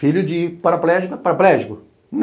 Filho de paraplégico é paraplégico?